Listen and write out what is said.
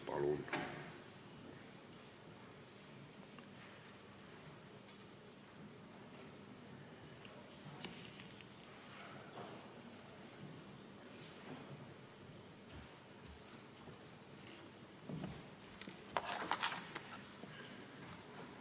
Palun!